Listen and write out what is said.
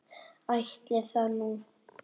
Ætli það nú.